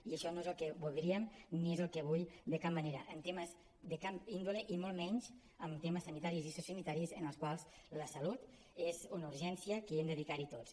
i això no és el que voldríem ni és el que vull de cap manera en temes de cap índole i molt menys en temes sanitaris i sociosanitaris en els quals la salut és una urgència que ens hi hem de dedicar tots